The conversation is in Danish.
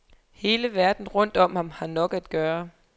Hele verden rundt om ham har nok at gøre.